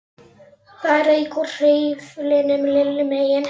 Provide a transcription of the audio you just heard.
Í skýrslunum kom fram frásögn um afdrif Geirfinns.